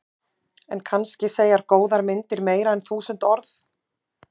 En kannski segja góðar myndir meira en þúsund orð.